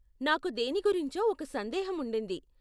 నాకు దేని గురించో ఒక సందేహం ఉండింది.